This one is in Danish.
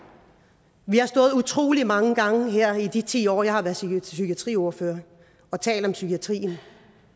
vi har stået her utrolig mange gange i de ti år jeg har været psykiatriordfører og talt om psykiatrien